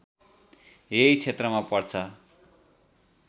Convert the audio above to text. यही क्षेत्रमा पर्छ